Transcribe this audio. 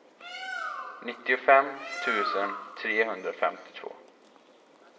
nittiofem tusen trehundrafemtiotvå